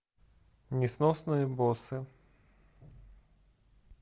несносные боссы